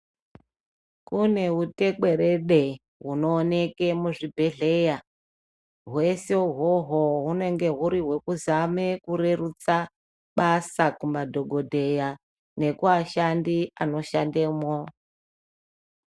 Kune utekwerede hunoonekwa muzvibhedhleya ,hwese ihwohwo hunenge huri hwekuzame kurerutsa basa kumadhokodheya nekuashandi anoshandemo.